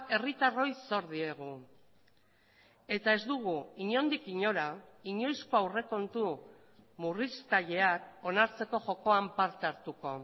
herritarroi zor diegu eta ez dugu inondik inora inoizko aurrekontu murriztaileak onartzeko jokoan parte hartuko